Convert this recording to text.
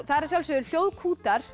það eru að sjálfsögðu